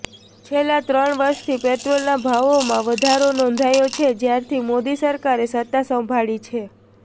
છેલ્લા ત્રણ વર્ષથી પેટ્રોલના ભાવોમાં વધારો નોંધાયો છે જ્યારથી મોદી સરકારે સત્તા સંભાળી છે